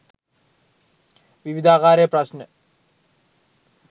විවිධාකාරයේ ප්‍රශ්න.